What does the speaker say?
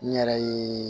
N yɛrɛ ye